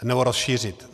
Nebo rozšířit.